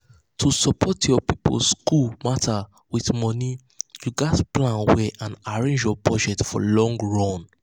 to support your people school matter with money you gats plan well and arrange your budget for long run.